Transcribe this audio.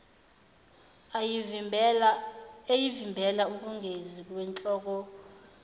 eyamvimbela ukungezi kwinhlolokhono